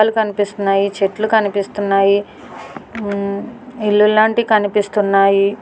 మొక్కలు కనిపిస్తున్నాయి. చెట్లు కనిపిస్తున్నాయి. ఇళ్ళులాంటి కనిపిస్తున్నాయి.